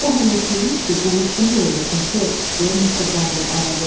O hələ istəyirmiş ki, qulluqçunun da öldürsün ser, deyə Mister Bamble əlavə etdi.